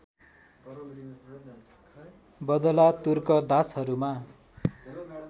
बदला तुर्क दासहरूमा